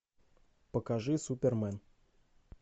покажи супермен